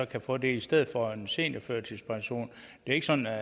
kan få det i stedet for en seniorførtidspension det er ikke sådan jeg